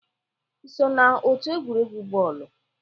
Ị so na otu egwuregwu bọọlụ?